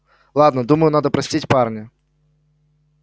ладно думаю надо простить парня